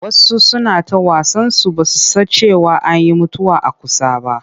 Wasu suna ta wasansu ba su san cewa an yi mutuwa a kusa ba.